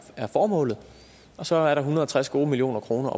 er formålet og så er der hundrede og tres million kroner